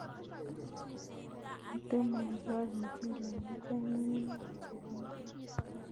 Kotomo ikol muchelek icheng' ng'ung'unyek chebo menet